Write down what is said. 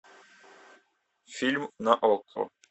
фильм на окко